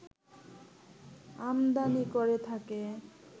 আমদানি করে থাকে